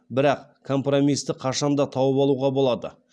бірақ компромисті қашан да тауып алуға болады